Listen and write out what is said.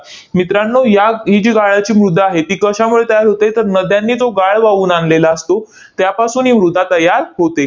मित्रांनो, या ही जी गाळाची मृदा आहे, ती कशामुळे तयार होते? तर नद्यांनी तो गाळ वाहून आणलेला असतो, त्यापासून ही मृदा तयार होते.